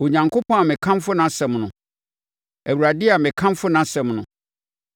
Onyankopɔn a mekamfo nʼasɛm no, Awurade a mekamfo nʼasɛm no,